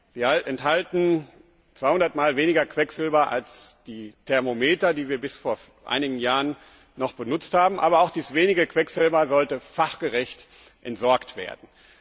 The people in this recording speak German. Sie enthalten zweihundertmal weniger Quecksilber als die Thermometer, die wir bis vor einigen Jahren noch benutzt haben. Aber auch dieses wenige Quecksilber sollte fachgerecht entsorgt werden.